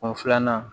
O filanan